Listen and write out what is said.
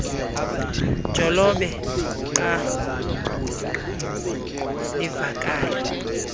jolobe qanguie livakala